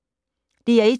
DR1